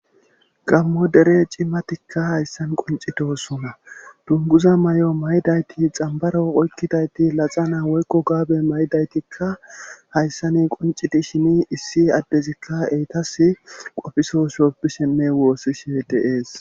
Gamo dere cimatikka hayssan qoncitosuna dunguza may7o may7dayti xambaro oykkidayti laxa naa woykko gaabe maydaytikka hayssan qonciti shini issi addezikka eytas qofisoshooppi shimme woossi shetees